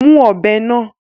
Mú ọ̀bẹ náà!